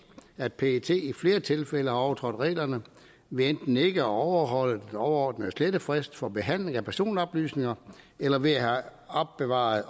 at pet i flere tilfælde har overtrådt reglerne ved enten ikke at overholde den overordnede slettefrist for behandling af personoplysninger eller ved at have opbevaret